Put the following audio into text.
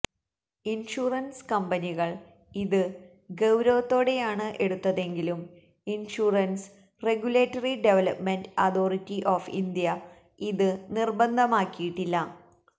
insurance കമ്പനികള് ഇത് ഗൌവരത്തോടെയാണ് എടുത്തതെങ്കിലും insurance regulatory development authority of India ഇത് നിര്ബന്ധമാക്കിയിട്ടില്ല